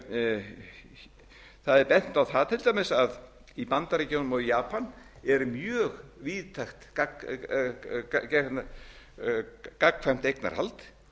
notuð það er bent á það til dæmis að í bandaríkjunum og japan er mjög víðtækt gagnkvæmt eignarhald